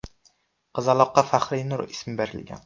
Qizaloqqa Fahrinur ismi berilgan.